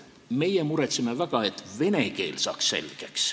Meie muretseme väga, et saaks vene keele selgeks.